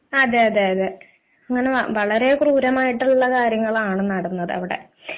അതെയതെ അങ്ങനെ വളരെ ക്രൂരമായിട്ടുള്ള കാര്യമാണ് നടന്നത് അവിടെ